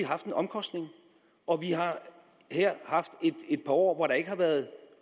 haft en omkostning og vi har her haft et par år hvor der ikke har været